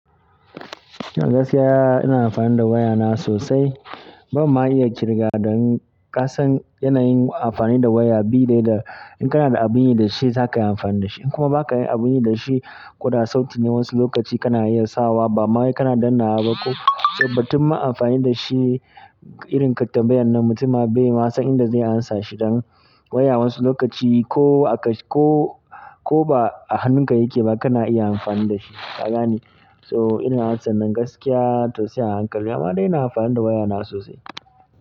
Gaskiya ina amfani da wayana sosai. Ba ma iya ƙirgawa don ka san yanayin amfani da waya bi daidai in kana da abun yi da shi zaka yi amfani da shi in kuma ba ka yi abun yi da shi ko da sauti ne wasu lokaci kana iya sawa bama kana dannnawa ba ko sai batun ma amfani da shi irin ka ti tambayar nan mutum ba bai ma san inda zai amsa shi dan waya wasu lokaci ko a ka-- ko, ko ba a hannun ka yake ba kana iya amfani da shi. Ka ganɓne. So ina matsa nan gaskiya tausaya hankali amma dai ina amfani da waya na sosai.